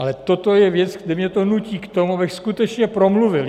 Ale toto je věc, kde mě to nutí k tomu, abych skutečně promluvil.